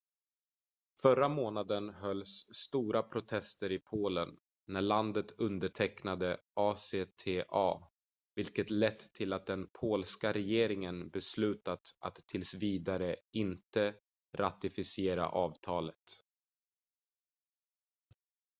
förra månaden hölls stora protester i polen när landet undertecknade acta vilket lett till att den polska regeringen beslutat att tills vidare inte ratificera avtalet